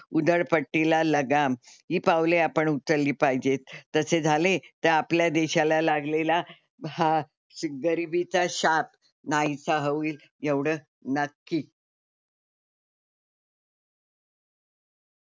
उधळपट्टीला लगाम ही पावले आपण उचलली पाहिजेत. तसे झाले तर आपल्या देशाला लागलेला हा गरिबीचा शाप नाहीसा होईल एवढं नक्की.